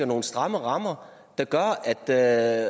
nogle stramme rammer der gør at